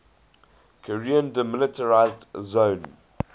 korean demilitarized zone